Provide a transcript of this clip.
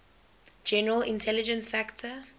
general intelligence factor